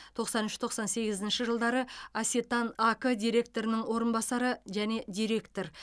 тоқсан үш тоқсан сегізінші жылдары асетан ак директордың орынбасары және директор